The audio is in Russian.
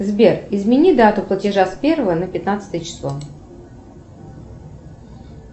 сбер измени дату платежа с первого на пятнадцатое число